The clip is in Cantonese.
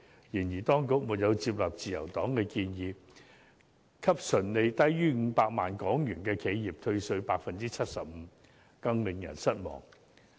再者，當局亦沒有接納自由黨的建議，向純利低於500萬港元的企業退稅 75%， 更令人失望。